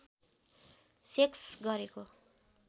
sex गरेको